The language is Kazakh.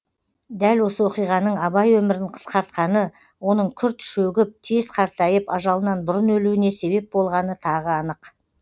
дәл осы оқиғаның абай өмірін қысқартқаны оның күрт шөгіп тез қартайып ажалынан бұрын өлуіне себеп болғаны тағы анық